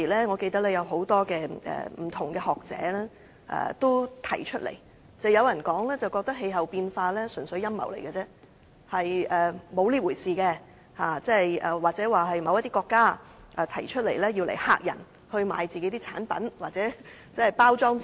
我記得當時有許多學者表示氣候變化問題純粹是陰謀，實際並沒有這回事，又指這是某些國家提出來嚇人，以期銷售他們自己的產品或包裝自己。